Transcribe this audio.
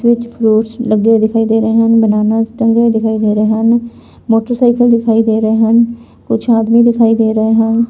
ਵਿੱਚ ਫਰੂਟਸ ਲੱਗੇ ਹੋਏ ਦਿਖਾਈ ਦੇ ਰਹੇ ਹਨ ਬਨਾਨਾਸ ਟੰਗੇ ਹੋਏ ਦਿਖਾਈ ਦੇ ਰਹੇ ਹਨ ਮੋਟਰਸਾਈਕਲ ਦਿਖਾਈ ਦੇ ਰਹੇ ਹਨ ਕੁਝ ਆਦਮੀ ਦਿਖਾਈ ਦੇ ਰਹੇ ਹਨ।